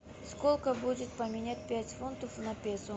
сколько будет поменять пять фунтов на песо